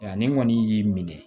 Yanni n kɔni y'i minɛ